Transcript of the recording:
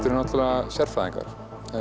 eru náttúrulega sérfræðingar